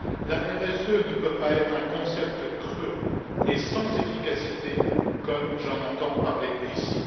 La RSE ne peut pas être un concept creux et sans efficacité comme j'en entends parler ici.